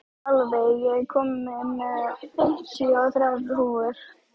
Álfey, ég kom með fimmtíu og þrjár húfur!